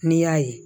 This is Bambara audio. N'i y'a ye